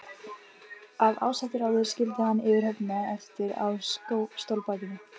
Af ásettu ráði skildi hann yfirhöfnina eftir á stólbakinu.